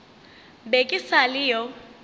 be ke sa le yo